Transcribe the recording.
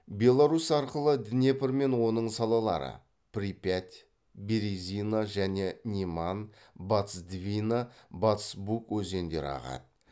беларусь арқылы днепр мен оның салалары припять березина және неман батыс двина батыс буг өзендері ағады